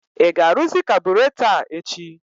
I ga-aruzị kaburatọ a echi?